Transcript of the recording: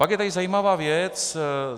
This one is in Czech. Pak je tady zajímavá věc.